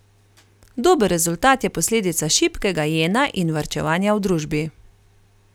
Dober rezultat je posledica šibkega jena in varčevanja v družbi.